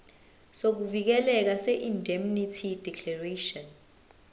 sokuvikeleka seindemnity declaration